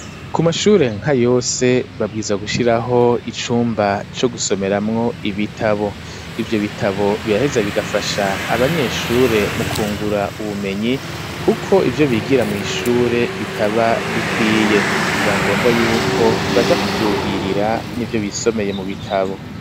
Ku mashure nka yose babwirizwa gushiraho icumba co gusomeramwo ibitabo ivyo bitabo biraheza bigafasha abanyeshure mu kungura ubumenyi kuko ivyo bigira muw'ishure bikaba bikwiye biba ngombwa yuko baja ku vyuhirira n'ivyo basomye mu bitabo.